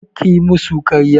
Kar kayi musu ƙarya!